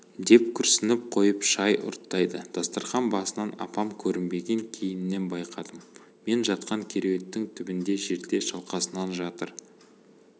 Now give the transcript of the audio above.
деп күрсініп қойып шай ұрттайды дастарқан басынан апам көрінбеген кейіннен байқадым мен жатқан кереуеттің түбінде жерде шалқасынан жатыр